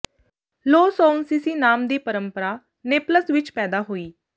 ਲੋ ਸਓਨਸਿਸੀ ਨਾਮ ਦੀ ਪਰੰਪਰਾ ਨੇਪਲਸ ਵਿਚ ਪੈਦਾ ਹੋਈ